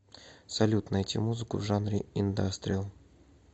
салют найти музыку в жанре индастриал